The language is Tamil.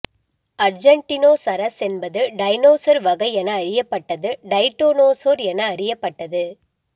அர்ஜென்டினோசரஸ் என்பது டைனோசர் வகை என அறியப்பட்டது டைட்டானோசோர் என அறியப்பட்டது